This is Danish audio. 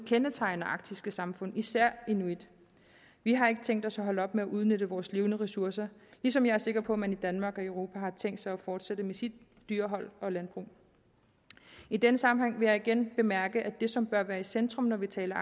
kendetegner arktiske samfund især inuit vi har ikke tænkt os at holde op med at udnytte vores levende ressourcer ligesom jeg er sikker på at man i danmark og europa har tænkt sig at fortsætte med sit dyrehold og landbrug i denne sammenhæng vil jeg igen bemærke at det som bør være i centrum når vi taler